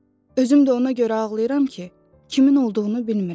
Özüm də ona görə ağlayıram ki, kimin olduğunu bilmirəm.